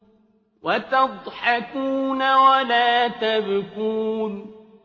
وَتَضْحَكُونَ وَلَا تَبْكُونَ